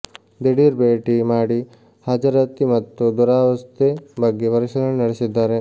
ದಿಢೀರ್ ಭೇಟಿ ಮಾಡಿ ಹಾಜರಾತಿ ಮತ್ತು ದುರಾವಸ್ಥೆ ಬಗ್ಗೆ ಪರಿಶೀಲನೆ ನಡೆಸಿದ್ದಾರೆ